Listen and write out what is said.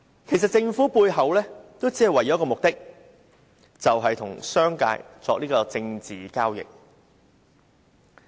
其實政府背後只有一個目的，就是與商界作政治交易。